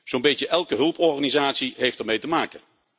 Zo'n beetje elke hulporganisatie heeft ermee te maken.